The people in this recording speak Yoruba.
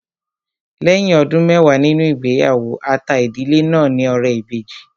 Lẹ́yìn ọdún mẹwàá nínú ìgbéyàwó, a ta ìdílé náà ní ọrẹ ìbejì